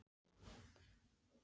Perla, hvenær kemur sexan?